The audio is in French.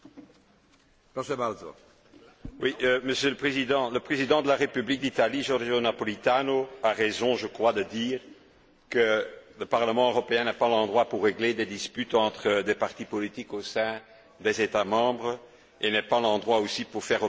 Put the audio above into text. Monsieur le Président, le président de la République d'Italie, Giorgio Napolitano, a raison de dire que le Parlement européen n'est pas l'endroit pour régler des disputes entre des partis politiques au sein des États membres, ni pour faire opposition à des décisions des parlements nationaux.